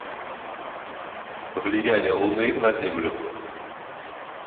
влияние луны на землю